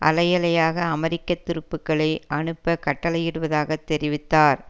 அலை அலையாக அமெரிக்க துருப்புக்களை அனுப்ப கட்டளையிடுவதாக தெரிவித்தார்